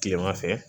Kilema fɛ